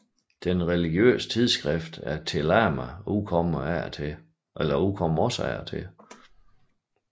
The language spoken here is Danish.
Det religiøse tidsskrift Te Lama udkommer også af og til